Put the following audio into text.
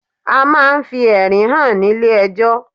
A ma ń fi ẹ̀rí hàn nílé ejọ́.